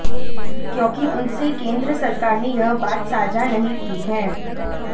क्योंकि उनसे केंद्र सरकार ने यह बात साझा नहीं की है